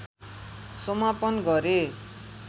समापन गरे